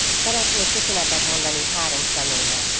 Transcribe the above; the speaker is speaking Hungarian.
Szeretnék köszönetet mondani három személynek.